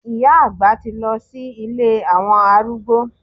Ìyá àgbà ti lọ sí ilé àwọn arúgbó.